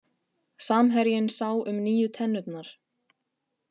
Samherjinn sá um nýju tennurnar